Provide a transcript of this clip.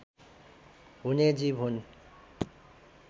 हुने जीव हुन्